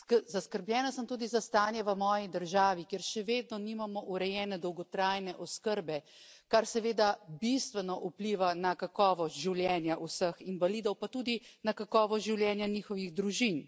Zaskrbljena sem tudi za stanje v moji državi, kjer še vedno nimamo urejene dolgotrajne oskrbe, kar seveda bistveno vpliva na kakovost življenja vseh invalidov, pa seveda tudi na kakovost življenja njihovih družin.